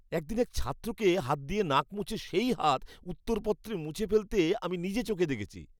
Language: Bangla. একদিন এক ছাত্রকে হাত দিয়ে নাক মুছে সেই হাত উত্তরপত্রে মুছে ফেলতে আমি নিজে চোখে দেখেছি।